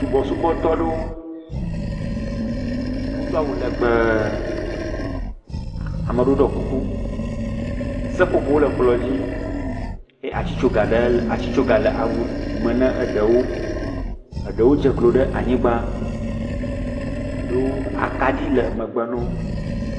Subɔsubɔtɔ aɖewo wodo awu legbẽ, ame aɖewo ɖɔ kuku, seƒoƒowo le kplɔ̃ dzi eye atsitsoge le awu me ne ɖewo. Eɖewo dze klo ɖe anyigba. Eɖewo, akaɖi le megbe na wo.